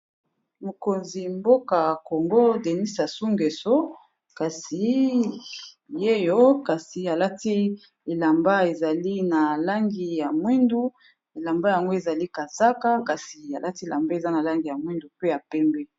Mokonzi mboka congo denis asu ngeso kasi yeyo kasi alati elamba ezali na langi ya mwindu, elamba yango ezali kazaka kasi alati elamba eza na langi ya mwindu pe ya pembi.